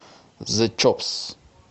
зе чопс